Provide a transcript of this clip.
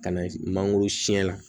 Ka na mangoro siyɛn la